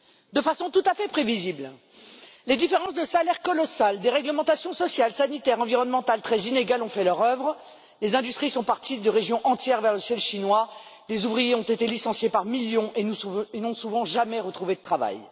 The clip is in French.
De façon tout à fait prévisible, les différences de salaires colossales et des réglementations sociales, sanitaires, environnementales très inégales ont fait leur œuvre, les industries sont parties de régions entières vers le ciel chinois, les ouvriers ont été licenciés par millions et n'ont, souvent, jamais retrouvé de travail.